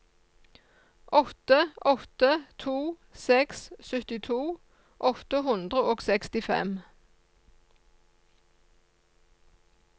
åtte åtte to seks syttito åtte hundre og sekstifem